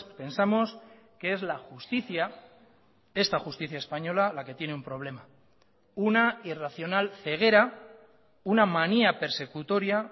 pensamos que es la justicia esta justicia española la que tiene un problema una irracional ceguera una manía persecutoria